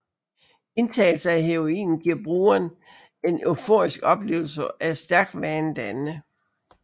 Indtagelse af heroin giver brugeren en euforisk oplevelse og er stærkt vanedannende